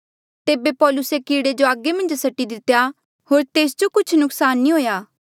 तेबे पौलुसे कीड़े जो आगा मन्झ सटी दितेया होर तेस जो कुछ नुक्सान नी हुएया